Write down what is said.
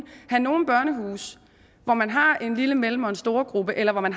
have nogle børnehuse hvor man har en lille en mellem og en storegruppe eller man